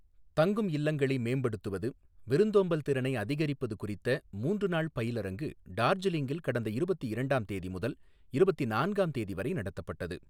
தங்கும் இல்லங்களை மே்படுத்துவது, விருத்தோம்பல் திறனை அதிகரிப்பது குறித்த மூன்று நாள் பயிலரங்கு டார்ஜிலிங்கில் கடந்த இருபத்தி இரண்டாம் தேதி முதல் இருபத்தி நான்காம் தேதி வரை நடத்தப்பட்டது.